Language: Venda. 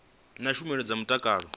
na tshumelo dza mutakalo wa